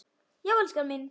Já, elskan mín!